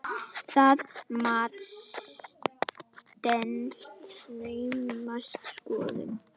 Það mat stenst naumast skoðun.